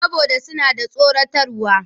Saboda suna da tsoratarwa.